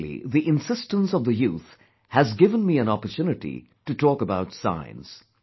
Especially the insistence of the youth has given me an opportunity to talk about science